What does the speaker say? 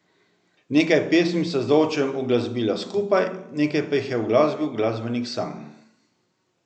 Nekaj pesmi sta z Dovčem uglasbila skupaj, nekaj pa jih je uglasbil glasbenik sam.